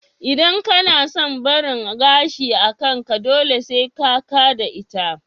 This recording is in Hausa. Idan kana son barin gashi a kanka, dole sai ka ka da ita